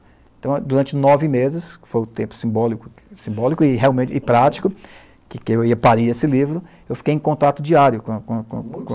Então, durante nove meses, que foi um tempo simbólico, simbólico e realmente, e prático, que que eu ia parir esse livro, eu fiquei em contato diário com a com, muitos,a com a